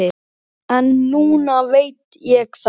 Fáir, að mínu mati.